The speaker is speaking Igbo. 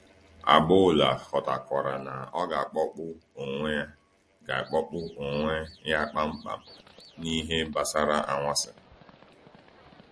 Agboola ghọtarakwa na ọ ga-akpọpụ onwe ga-akpọpụ onwe ya kpamkpam n’ihe gbasara anwansi.